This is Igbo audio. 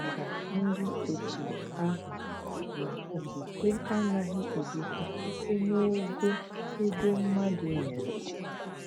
Ọ chetaara ndi otu ahụ na okwukwe anaghị egosi site n’ogo ego mmadụ nyere.